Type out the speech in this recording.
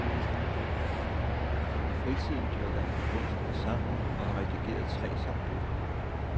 I fritiden dyrker han kunst og sang og har redigeret tre sangbøger.